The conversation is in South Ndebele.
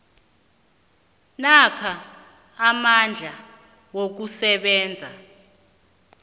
namkha amandla wokusebenza